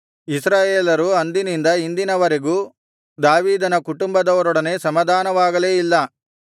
ಇಸ್ರಾಯೇಲರು ಅಂದಿನಿಂದ ಇಂದಿನವರೆಗೂ ದಾವೀದನ ಕುಟುಂಬದವರೊಡನೆ ಸಮಾಧಾನವಾಗಲೇ ಇಲ್ಲ